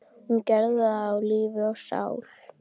Hún gerði þetta af lífi og sál.